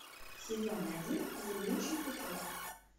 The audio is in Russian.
сезон один зыбучий песок